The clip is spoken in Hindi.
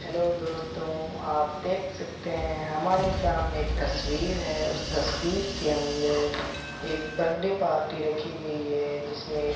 हेलो दोस्तों आप देख सकते हैं हमारे सामने एक तस्वीर है उस तस्वीर के अंदर एक बड्डे पार्टी रखी गई है जिसमें --